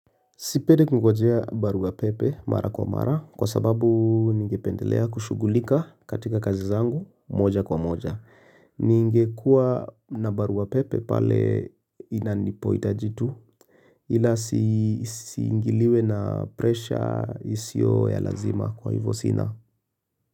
Sipendi kingoja barua pepe mara kwa mara kwa sababu ningependelea kushughulika katika kazi zangu moja kwa moja ningekua na barua pepe pale inapohitajika ila nisiingiliwe na presha isiyo ya lazima kwa hivyo sina.